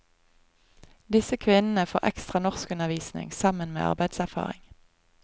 Disse kvinnene får ekstra norskundervisning sammen med arbeidserfaring.